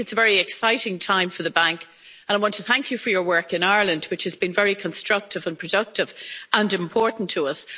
I think it's a very exciting time for the Bank and I want to thank you for your work in Ireland, which has been very constructive and productive and important to us.